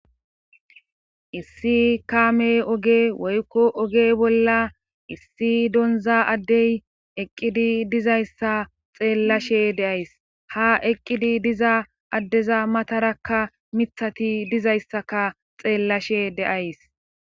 issi kaame oge woykko oge bolla issi donza addey eqqidi dizayssa xeellashe deays ha eqqidi diza addeza matarakka mithati dizayssaka xeellashe de7aysi.